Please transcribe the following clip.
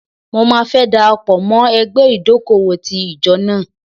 Mo máa fẹ́ dara pọ̀ mọ́ ẹgbẹ́ ìdókòwò ti ìjọ náà.